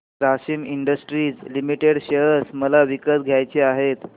Grasim industries limited share मला विकत घ्यायचे आहेत